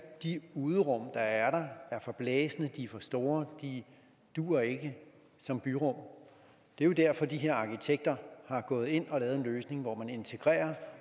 de uderum der er der er forblæste de er for store de duer ikke som byrum det er jo derfor at de her arkitekter er gået ind og lavet en løsning hvor man integrerer